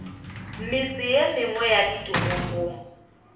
metse ye mengwe ya ditoropong